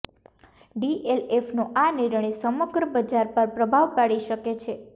ડીએલએફનો આ નિર્ણય સમગ્ર બજાર પર પ્રભાવ પાડી શકે છે